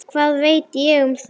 Hvað veit ég um það?